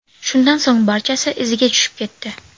Shundan so‘ng barchasi iziga tushib ketdi.